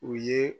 U ye